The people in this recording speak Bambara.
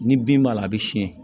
Ni bin b'a la a bɛ siyɛn